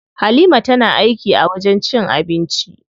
Halima tana aiki a wajen cin abinci.